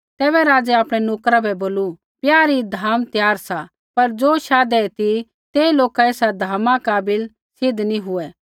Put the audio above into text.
तैबै राज़ै आपणै नोकरा बै बोलू ब्याह री धाम त्यार सा पर ज़ो शाधै ती ते लोका एसा धामा काबिल सिद्ध नी हुऐ